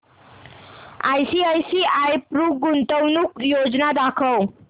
ICICI Pru गुंतवणूक योजना दाखव